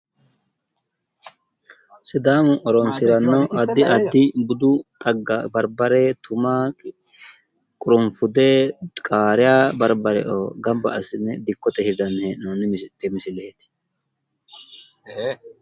Sidaamu horonsiranno addi addi budu xagga barbare ,tuma, qurunfude, qaariya, barbareoo gamba assine dikkote hirranni hee'noonni misileeti